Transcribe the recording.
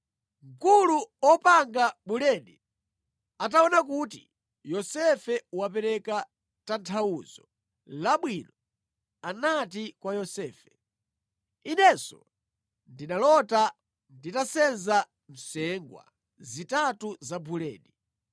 Mkulu wa opanga buledi ataona kuti Yosefe wapereka tanthauzo labwino, anati kwa Yosefe, “Inenso ndinalota nditasenza nsengwa zitatu za buledi.